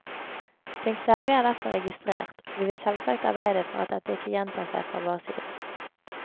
Din klage er derfor registrert, og vi vil selvsagt arbeide for at dette ikke gjentar seg fra vår side.